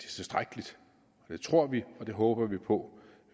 tilstrækkeligt det tror vi og det håber vi på